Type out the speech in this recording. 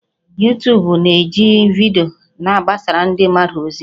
Yutubu na-eji vidiyo na-agbasara ndị mmadụ ozi